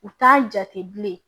U t'a jate bilen